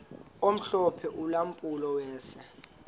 omhlophe ulampulo wase